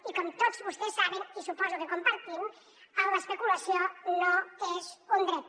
i com tots vostès saben i suposo que compartim l’especulació no és un dret